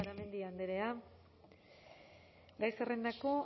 garamendi andrea gai zerrendako